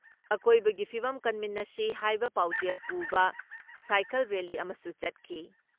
ꯑꯀꯣꯏꯕꯒꯤ ꯐꯤꯕꯝ ꯀꯟꯃꯤꯟꯅꯁꯤ ꯍꯥꯏꯕ ꯄꯥꯎꯖꯦꯜ ꯄꯨꯕ ꯁꯥꯏꯀꯜ ꯔꯦꯜꯂꯤ ꯑꯃꯁꯨ ꯆꯠꯈꯤ ꯫